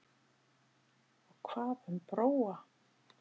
Og hvað um Bróa?